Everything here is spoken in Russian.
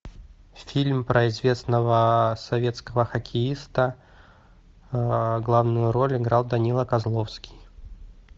фильм про известного советского хоккеиста главную роль играл данила козловский